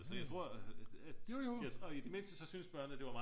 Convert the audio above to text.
Så jeg tror at jeg tror i det mindste så syntes børnene at det var meget